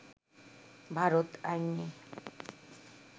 ভারত আইনে